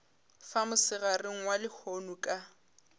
fa mosegareng wa lehono ka